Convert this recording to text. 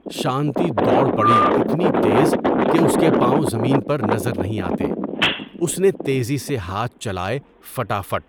شانتی دوڑ پڑی اتنی تیز کہ اس کے پاؤں زمین پر نظر نہیں آتے۔ اس نے تیزی سے ہاتھ چلائے فٹا فٹ!